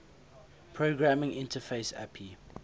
programming interface api